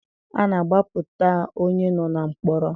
A na-agbapụta onye nọ na mkpọrọ.